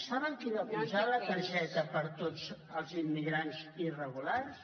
saben qui va posar la targeta per a tots els immigrants irregulars